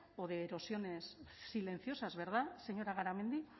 o de erosiones silenciosas verdad señora garamendi